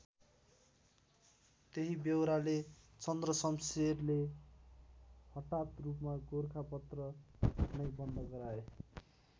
त्यही बेहोराले चन्द्रशमशेरले हटात रूपमा गोरखापत्र नै बन्द गराए।